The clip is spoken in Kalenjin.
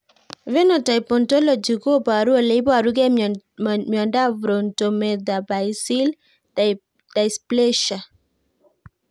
Phenotype ontology koparu ole iparukei miondop Frontometaphyseal dysplasia